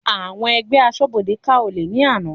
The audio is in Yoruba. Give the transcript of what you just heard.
Àwọn ẹgbẹ́ asọ́bodè ká olè ní àná.